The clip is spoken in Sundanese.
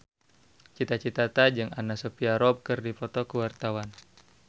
Cita Citata jeung Anna Sophia Robb keur dipoto ku wartawan